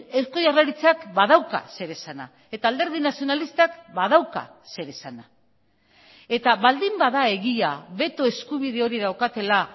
eusko jaurlaritzak badauka zer esana eta alderdi nazionalistak badauka zer esana eta baldin bada egia beto eskubide hori daukatela